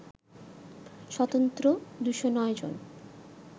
স্বতন্ত্র ২০৯ জন